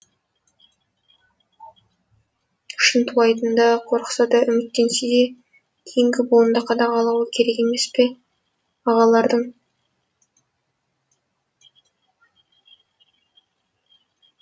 шынтуайтында қорықса да үміттенсе де кейінгі буынды қадағалауы керек емес пе ағалардың